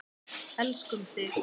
Elskum þig.